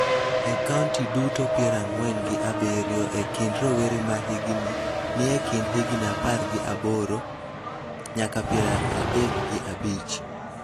e kaonti duto piero ang'wen gi abiriyo e kind rowere ma hikgi ni e kind higni apar gi aboro nyaka piero adek gi abich.